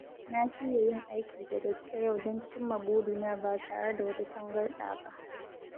Na shirya yin aiki da gaske yau don cimma burina ba tare da wata tangarɗa ba.